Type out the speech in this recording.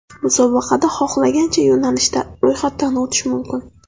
Musobaqada xohlagancha yo‘nalishda ro‘yxatdan o‘tish mumkin.